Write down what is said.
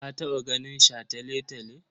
Ka taɓa ganin shataletale?